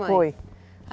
Foi.